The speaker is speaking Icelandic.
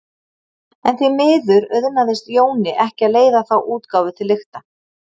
En því miður auðnaðist Jóni ekki að leiða þá útgáfu til lykta.